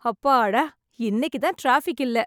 அப்பாடா இன்னைக்கு தான் டிராபிக் இல்ல.